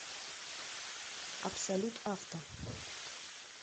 абсолют авто